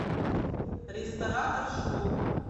ресторатор шоу